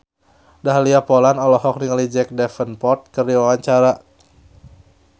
Dahlia Poland olohok ningali Jack Davenport keur diwawancara